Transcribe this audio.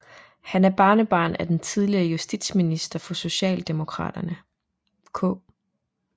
Han er barnebarn af den tidligere justitsminister for Socialdemokraterne K